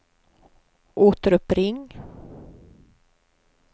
återuppring